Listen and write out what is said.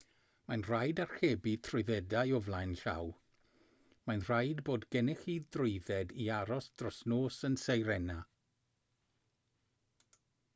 mae'n rhaid archebu trwyddedau o flaen llaw mae'n rhaid bod gennych chi drwydded i aros dros nos yn sirena